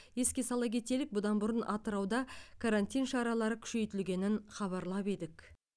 еске сала кетелік бұдан бұрын атырауда карантин шаралары күшейтілгенін хабарлап едік